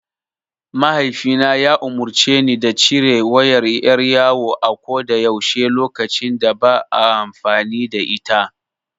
Mahaifina ya umurce ni da cire wayar ƴar yawo a ko da yaushe lokacin da ba a amfani da ita.